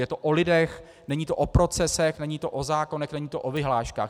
Je to o lidech, není to o procesech, není to o zákonech, není to o vyhláškách.